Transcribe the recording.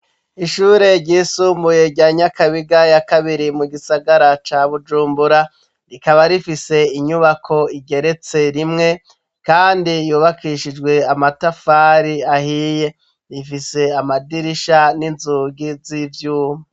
Ishure ryisumbuye rya nyakabiga ya kabiri mu gisagara ca bujumbura rikaba rifise inyubako igeretse rimwe, kandi yubakishijwe amatafari ahiye rifise amadirisha n'inzugi z'ivyuma.